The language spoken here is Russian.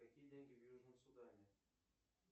какие деньги в южном судане